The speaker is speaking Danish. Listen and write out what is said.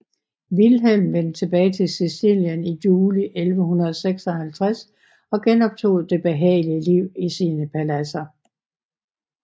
Vilhelm vendte tilbage til Sicilien i juli 1156 og genoptog det behagelige liv i sine paladser